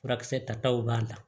Furakisɛ tataw b'a la